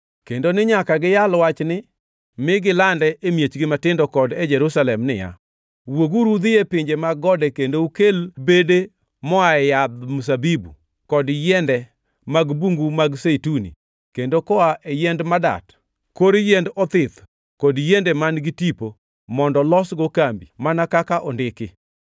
kendo ni nyaka giyal wachni mi gilande e miechgi matindo kod e Jerusalem niya, “Wuoguru udhi e pinje mag gode kendo ukel bede moaye yadh zeituni kod yiende mag bungu mag zeituni, kendo koa e yiend madat, kor yiend othith kod yiende man-gi tipo, mondo losgo kambi,” mana kaka ondiki.